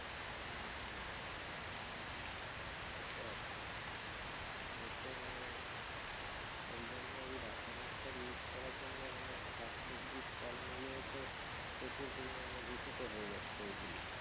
সে তো আছে এ তো মানে এই জন্যে এই রাসায়নিক সার use করার জন্য মানে শাক সব্জি ফলমূলের ও তো প্রচুর পরিমানে দূষিত হয়ে যাচ্ছে ঐ গুলো